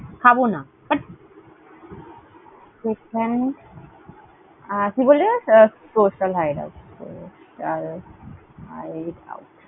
খাবনা, পেট। আহ কি বললি বেশ? Social Hideout Social Hideout ।